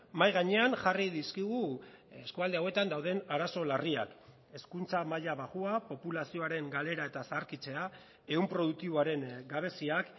mahai gainean jarri dizkigu eskualde hauetan dauden arazo larriak hezkuntza maila baxua populazioaren galera eta zaharkitzea ehun produktiboaren gabeziak